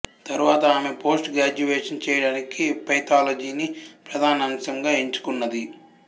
తరువాత ఆమె post graduation చేయడానికి పెథాలజీని ప్రధానాంశంగా ఎంచుకున్నది